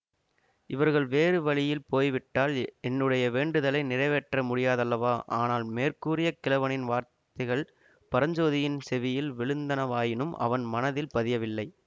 இவர்கள் வேறு வழியில் போய்விட்டால் என்னுடைய வேண்டுதலை நிறைவேற்ற முடியாதல்லவா ஆனால் மேற்கூறிய கிழவனின் வார்த்தைகள் பரஞ்சோதியின் செவியில் விழுந்தனவாயினும் அவன் மனத்தில் பதியவில்லை